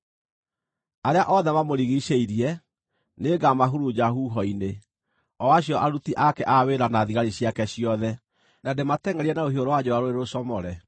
Arĩa othe mamũrigiicĩirie, nĩngamahurunja huho-inĩ, o acio aruti ake a wĩra na thigari ciake ciothe, na ndĩmatengʼerie na rũhiũ rwa njora rũrĩ rũcomore.